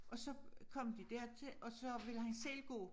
Og så kom de dertil og så ville han selv gå